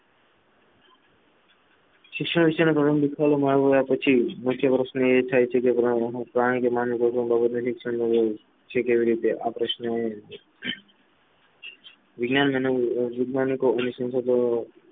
શિક્ષણ વિશે પછી મુખ્ય વર્ષની એ થાય છે કે પ્રાણી કે માનવી કેવી રીતે આ પ્રશ્ન વિજ્ઞાન અને સંશોધનો